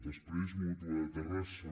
després mútua de terrassa